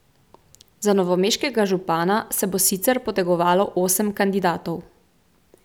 Za novomeškega župana se bo sicer potegovalo osem kandidatov.